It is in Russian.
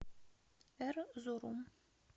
эрзурум